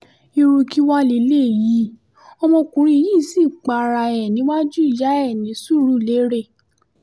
irú kí wàá lélẹ́yìí ọmọkùnrin yìí sì para ẹ̀ níwájú ìyá ẹ ní surulere